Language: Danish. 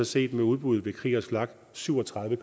set med udbuddet ved kriegers flak syv og tredive